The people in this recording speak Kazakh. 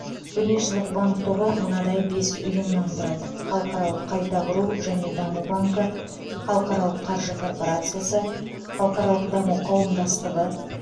дүниежүзілік банк тобы мынадай бес ұйымнан тұрады халықаралық қайта құру және даму банкі халықаралық қаржы корпорациясы халықаралық даму қауымдастығы